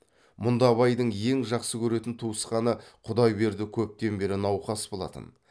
мұнда абайдың ең жақсы көретін туысқаны құдайберді көптен бері науқас болатын